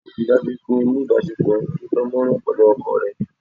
Ríi dájú wípé o ni ìbásepọ̀ to dán mọ́rán pẹ̀lú ọkọ rẹ